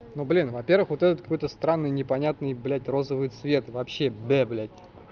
ну блин во-первых вот этот какой-то странный непонятный блять розовый цвет вообще бе блять